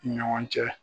Ni ɲɔgɔn cɛ